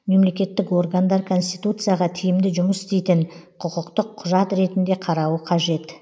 мемлекеттік органдар конституцияға тиімді жұмыс істейтін құқықтық құжат ретінде қарауы қажет